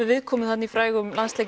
viðkomu í frægum landsleik